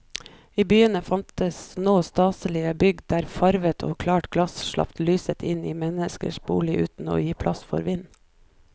I byene fantes nå staselige bygg der farvet og klart glass slapp lyset inn i menneskenes boliger uten å gi pass for vind.